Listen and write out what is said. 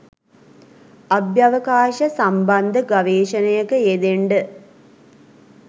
අභ්‍යවකාශ සම්බන්ධ ගවේෂණයක යෙදෙන්ඩ.